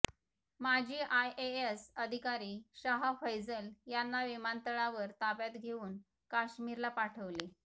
माजी आयएएस अधिकारी शाह फैझल यांना विमानतळावर ताब्यात घेऊन काश्मीरला पाठवले